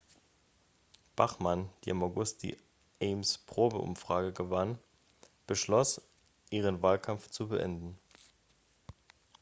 bachmann die im august die ames-probeumfrage gewann beschloss ihren wahlkampf zu beenden